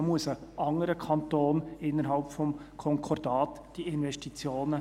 Diese Investitionen muss dort ein anderer Kanton innerhalb des Konkordats leisten.